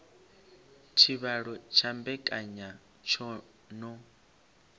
tshivhalo tsha mbekanya tsho no